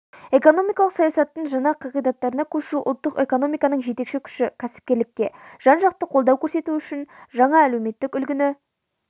экономикалық саясаттың жаңа қағидаттарына көшу ұлттық экономиканың жетекші күші кәсіпкерлікке жан-жақты қолдау көрсету жаңа әлеуметтік үлгіні